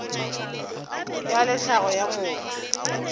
ya le tlhago ya motho